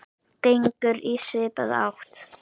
gengur í svipaða átt.